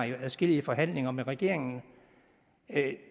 i adskillige forhandlinger med regeringen